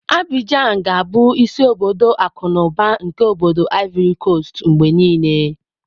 Abijan ga-abụ isi obodo akụ na ụba nke obody Ivori Kostu mgbe niile.